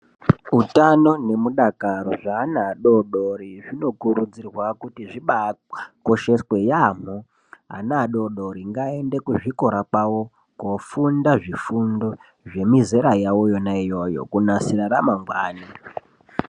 Wutano nemudakaro zve ana adodori, zvinokurudzirwa kuti zvibakosheswe yamo. Ana adodori ngayende kuzvikora kwawo, kofunda zvifundo zvemizera yawo yona yoyo, kunasira ramangwani.